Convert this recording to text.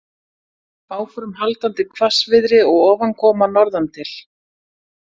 Áframhaldandi hvassviðri og ofankoma norðantil